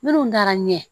Minnu taara ɲɛ